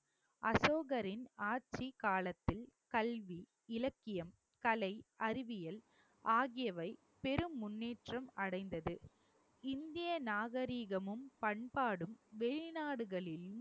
அசோகரின் ஆட்சிக்காலத்தில் கல்வி, இலக்கியம், கலை, அறிவியல் ஆகியவை பெரும் முன்னேற்றம் அடைந்தது இந்திய நாகரிகமும் பண்பாடும் வெளிநாடுகளிலும்